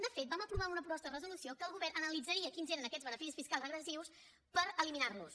de fet vam aprovar una proposta de resolució que el govern analitzaria quins eren aquests beneficis fiscals regressius per eliminar los